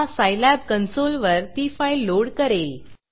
हा सायलॅब कन्सोलवर ती फाईल लोड करेल